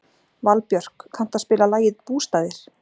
Valbjörk, kanntu að spila lagið „Bústaðir“?